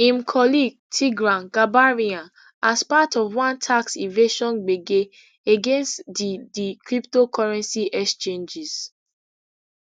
im colleague tigran gambaryan as part of one tax evasion gbege against di di cryptocurrency exchanges